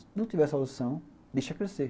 Se não tiver solução, deixa crescer.